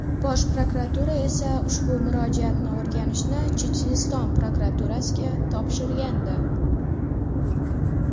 Bosh prokuratura esa ushbu murojaatni o‘rganishni Checheniston prokuraturasiga topshirgandi .